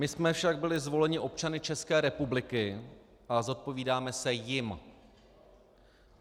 My jsme však byli zvoleni občany České republiky a zodpovídáme se jim.